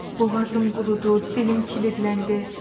Boğazım qurudu, dilim kilidləndi.